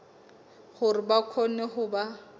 hore ba kgone ho ba